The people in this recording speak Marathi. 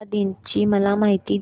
महिला दिन ची मला माहिती दे